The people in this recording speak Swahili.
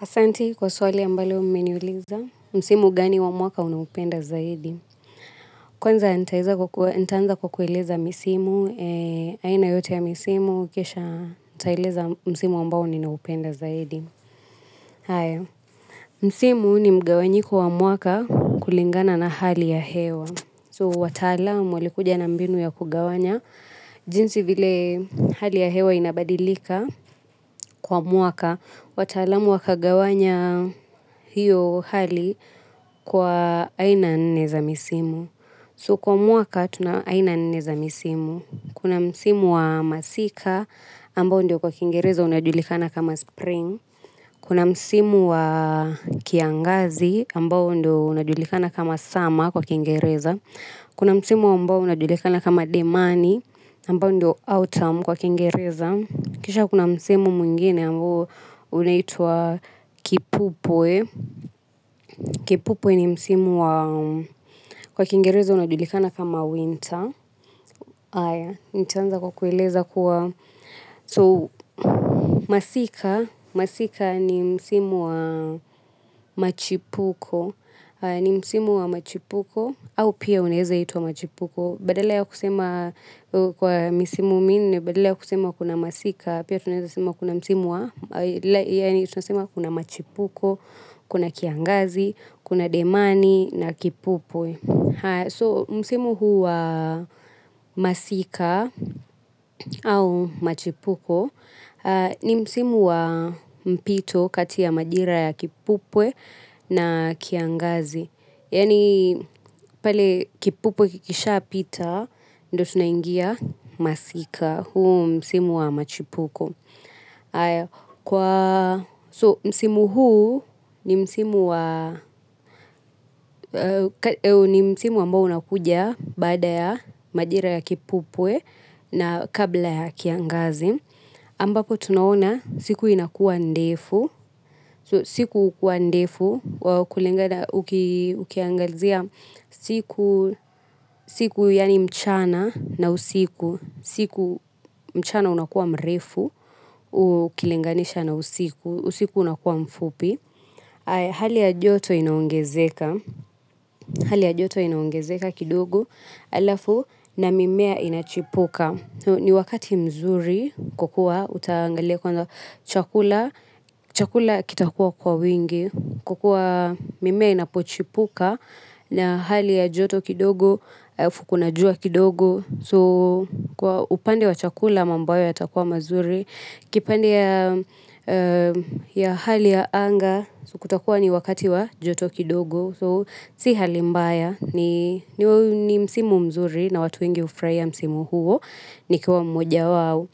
Asanti kwa swali ambalo mmeniuliza, msimu gani wa mwaka unaopenda zaidi. Kwanza nitaanza kwa kueleza misimu, aina yote ya misimu, kisha nitaeleza msimu ambao ninaupenda zaidi. Aaya, msimu ni mgawanyiko wa mwaka kulingana na hali ya hewa. So, wataalamu walikuja na mbinu ya kugawanya, jinsi vile hali ya hewa inabadilika kwa mwaka. Wataalamu wakagawanya hiyo hali kwa aina nne za misimu. So kwa mwaka tuna aina nne za misimu. Kuna msimu wa masika ambao ndio kwa kingereza unadulikana kama spring kuna msimu wa kiangazi ambao ndio unajulikana kama summer kwa Kiingereza. Kuna msimu ambao unajulikana kama demani ambao ndio autumn kwa Kiingereza, kisha kuna msimu mwingine ambao unaitwa kipupwe. Kipupwe ni msimu wa kwa Kiingereza unajulikana kama winter. Aaya, nitaanza kwa kueleza kuwa so, masika. Masika ni msimu wa machipuko. Ni msimu wa machipuko au pia unaeza unaitwa machipuko badala ya kusema, kwa misimu minne badala ya kusema kuna masika pia tunaeza sema kuna msimu wa, yaani tunasema kuna machipuko, kuna kiangiazi, kuna demani na kipupwe. So, msimu huu wa masika au machipuko ni msimu wa mpito kati ya majira ya kipupwe na kiangazi yaani pale kipupwe kikishaapita, ndo tunaingia masika, huu msimu wa machipuko. So msimu huu ni msimu wa ni msimu ambao unakuja baada ya majira ya kipupwe na kabla ya kiangazi, ambapo tunaona siku inakuwa ndefu. Siku hukuwa ndefu. Kulingada ukiangazia siku, yaani mchana na usiku. Siku mchana unakuwa mrefu. Ukilinganisha na usiku. Usiku unakuwa mfupi. Hali ya joto inaongezeka kidogo alafu na mimea inachipuka. Ni wakati mzuri kwa kuwa utaangalia kwanza chakula, chakula kitakuwa kwa wingi. Kwa kuwa mimea inapochipuka na hali ya joto kidogo, afu kuna jua kidogo. So upande wa chakula mambo yao yatakuwa mazuri. Kipande ya hali ya anga kutakuwa ni wakati wa joto kidogo. So si hali mbaya ni msimu mzuri na watu wengi hufurahia msimu huu nikiwa mmoja wawo.